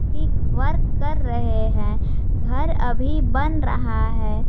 Work कर रहे हैं घर अभी बन रहा है।